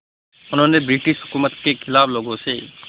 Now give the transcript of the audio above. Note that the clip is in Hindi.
उन्होंने ब्रिटिश हुकूमत के ख़िलाफ़ लोगों से